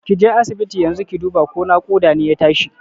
Kije asibiti yanzu ki duba ko naƙuda ne ya tashi